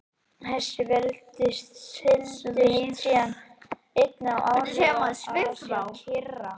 Þessi veldi seildust síðan einnig til áhrifa í Asíu og Kyrrahafi.